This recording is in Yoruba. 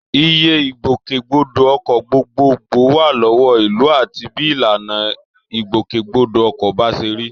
Iye Ìgbòkègbodò ọkọ̀ gbogbogbò wà lọ́wọ́ ìlú àti bí ìlànà ìgbòkègbodò ọkọ̀ bá ṣe rí